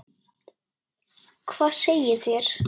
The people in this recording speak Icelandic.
Hvað segið þér?